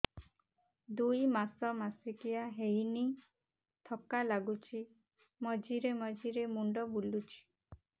ଦୁଇ ମାସ ମାସିକିଆ ହେଇନି ଥକା ଲାଗୁଚି ମଝିରେ ମଝିରେ ମୁଣ୍ଡ ବୁଲୁଛି